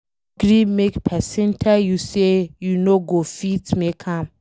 No gree make pesin tell you say you no go fit make am